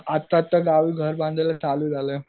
आत्ता आत्ता गावी घर बांधायला चालू झालयं.